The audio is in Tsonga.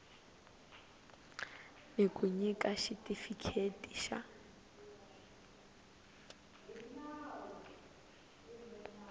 ni ku nyika xitifikheti xa